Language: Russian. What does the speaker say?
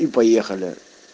и поехали